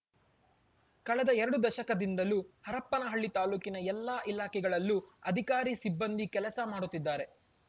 ಕಳೆದ ಎರಡು ದಶಕದಿಂದಲೂ ಹರಪನಹಳ್ಳಿ ತಾಲೂಕಿನ ಎಲ್ಲಾ ಇಲಾಖೆಗಳಲ್ಲೂ ಅಧಿಕಾರಿ ಸಿಬ್ಬಂದಿ ಕೆಲಸ ಮಾಡುತ್ತಿದ್ದಾರೆ